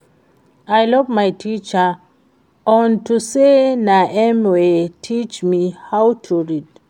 I love my teacher unto say na im wey teach me how to read